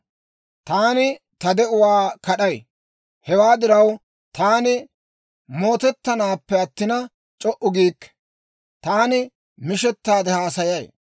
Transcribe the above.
«Taani ta de'uwaa kad'ay! Hewaa diraw, taani mootettanaappe attina, c'o"u giikke; taani mishettaade haasayay.